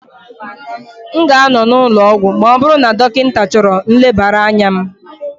M ga-anọ n'ụlọ ọgwụ ma ọ bụrụ na dọkịta chọrọ nlebara anya m